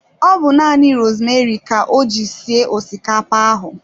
Ọ bu nanị rosmeri ka o ji sie osikapa ahụ